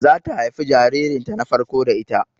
Zata haifi jaririn ta na farko da ita